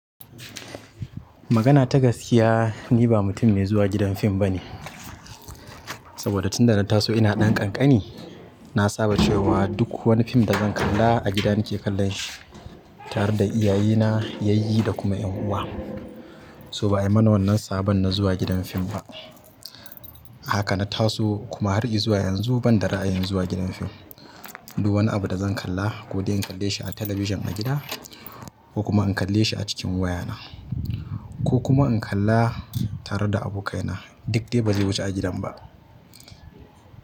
Magana ta gaskiya, ni ba mutum mai zuwa gidan fim ba ne. Saboda tun da na taso ina ɗan ƙanƙani, na saba cewa duk wani fim da zan kalla a gida nake kallon shi, tare da iyaye na, yayyi da kuma ƴan uwa. So ba ai mana wannan sabon na zuwa gidan fim ba. Haka na taso kuma har izuwa yanzu banda ra'ayin zuwa gidan firm duk wani abu da zan kalla ko dai in kalle shi a talabijin a gida, ko kuma in kalle shi a cikin waya na, ko kuma in kalla tare da abokai na, duk dai ba zai wuce a gidan ba.